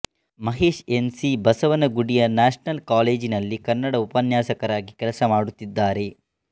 Mahesh N C ಬಸವನಗುಡಿಯ national ಕಾಲೇಜಿನಲ್ಲಿ ಕನ್ನಡ ಉಪನ್ಯಾಸಕರಾಗಿ ಕೆಲಸ ಮಾಡುತ್ತಿದ್ದಾರೆ